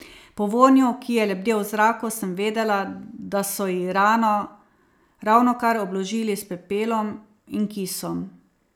Po vonju, ki je lebdel v zraku, sem vedela, da so ji rano ravnokar obložili s pepelom in kisom.